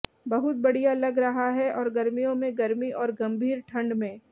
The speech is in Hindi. बहुत बढ़िया लग रहा है और गर्मियों में गर्मी और गंभीर ठंड में